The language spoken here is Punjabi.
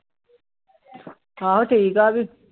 ਆਹੋ ਠੀਕ ਆ ਉਹ ਵੀ।